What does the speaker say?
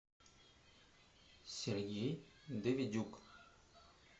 сергей давидюк